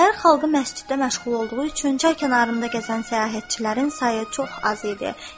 Şəhər xalqı məsciddə məşğul olduğu üçün çay kənarlarında gəzən səyahətçilərin sayı çox az idi.